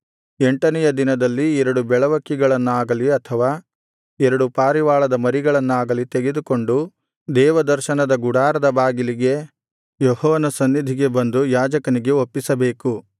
ಎಂಟನೆಯ ದಿನದಲ್ಲಿ ಎರಡು ಬೆಳವಕ್ಕಿಗಳನ್ನಾಗಲಿ ಅಥವಾ ಎರಡು ಪಾರಿವಾಳದ ಮರಿಗಳನ್ನಾಗಲಿ ತೆಗೆದುಕೊಂಡು ದೇವದರ್ಶನದ ಗುಡಾರದ ಬಾಗಿಲಿಗೆ ಯೆಹೋವನ ಸನ್ನಿಧಿಗೆ ಬಂದು ಯಾಜಕನಿಗೆ ಒಪ್ಪಿಸಬೇಕು